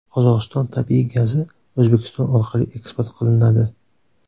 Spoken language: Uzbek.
Qozog‘iston tabiiy gazi O‘zbekiston orqali eksport qilinadi.